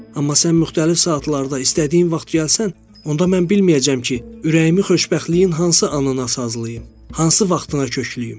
Amma sən müxtəlif saatlarda, istədiyin vaxt gəlsən, onda mən bilməyəcəm ki, ürəyimi xoşbəxtliyin hansı anına sazlayım, hansı vaxtına köklüyüm.